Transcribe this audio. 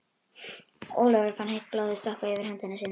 Ólafur fann heitt blóðið stökkva yfir hendi sína.